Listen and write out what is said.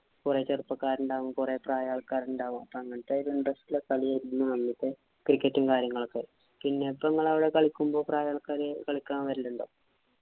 കൊറേ ചെറുപ്പക്കരുണ്ടാകും. കുറെ പ്രായമുള്ള ആള്‍ക്കാര് ഉണ്ടാകും. അങ്ങനത്തെ ഇത് ഉണ്ട്. cricket ഉം, കാര്യങ്ങളുമൊക്കെ. പിന്നെ ഇപ്പൊ നിങ്ങടെ അവിടെ കളിക്കുമ്പോ പ്രായമുള്ള ആള്‍ക്കാര് കളിക്കാന്‍ വരലുണ്ടോ?